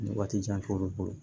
Ni waati jan t'olu bolo